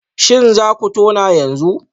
Shin za ku tona yanzu?